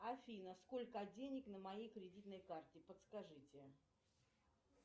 афина сколько денег на моей кредитной карте подскажите